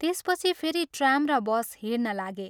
त्यसपछि फेरि ' ट्राम ' र ' बस ' हिंड्न लागे।